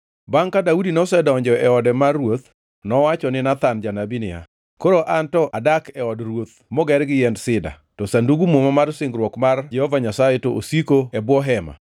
Bangʼ ka Daudi nosedonjo e ode mar ruoth, nowacho ni Nathan janabi niya, “Koro anto adak e od ruoth moger gi yiend sida, to Sandug Muma mar singruok mar Jehova Nyasaye to osiko e bwo hema.”